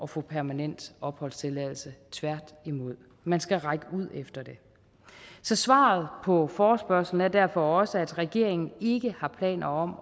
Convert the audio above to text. få permanent opholdstilladelse tværtimod man skal række ud efter det så svaret på forespørgslen er derfor også at regeringen ikke har planer om